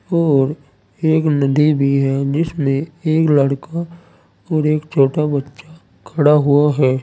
और एक नदी भी है जिसमें एक लड़का और एक छोटा बच्चा खड़ा हुआ है।